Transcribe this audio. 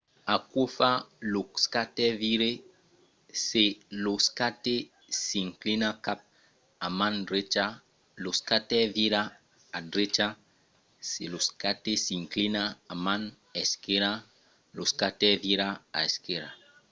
aquò fa que lo skater vire. se lo skate s'inclina cap a man drecha lo skater vira a drecha se lo skate s'inclina a man esquèrra lo skater vira a esquèrra